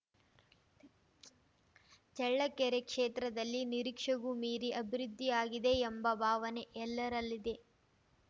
ಚಳ್ಳಕೆರೆ ಕ್ಷೇತ್ರದಲ್ಲಿ ನಿರೀಕ್ಷೆಗೂ ಮೀರಿ ಅಭಿವೃದ್ಧಿಯಾಗಿದೆ ಎಂಬ ಭಾವನೆ ಎಲ್ಲರಲ್ಲಿದೆ